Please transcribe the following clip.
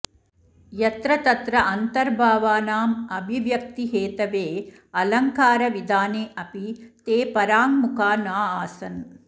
यत्र तत्र अन्तर्भावानाम् अभिव्यक्तिहेतवे अलङ्कारविधाने अपि ते पराङ्मुखा नाऽऽसन्